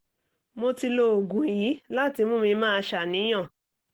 mo ti lo oògùn yìí láti mú mi máa ṣàníyàn